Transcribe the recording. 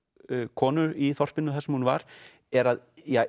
konu í þorpinu þar sem hún var er að